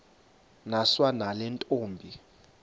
niswa nale ntombi